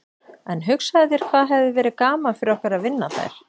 En hugsaðu þér hvað hefði verið gaman fyrir okkur að vinna þær.